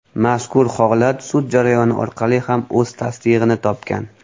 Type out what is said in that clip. Mazkur holat sud jarayoni orqali ham o‘z tasdig‘ini topgan.